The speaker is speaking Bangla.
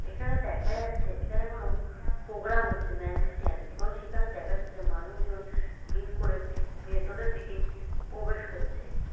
এবং এখানে দেখা যাচ্ছে এখানে কোনো প্রোগ্রাম হচ্ছে ম্যাজিসিয়ান এবং দেখা যাচ্ছে মানুষজন ভিড় করে ভেতরের দিকে প্রবেশ করছে।